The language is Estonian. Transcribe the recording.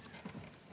Palun!